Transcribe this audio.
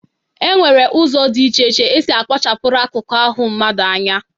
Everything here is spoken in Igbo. E nwere ụzọ dị iche iche e si akpachapụrụ akụkụ ahụ mmadụ anya.